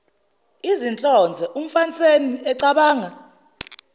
izinhlonze umfaniseni ecabanga